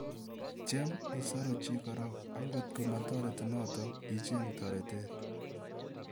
Tiem isaru chi korok, ang' kotko matareti notok , icheng' taretet"